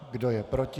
Kdo je proti?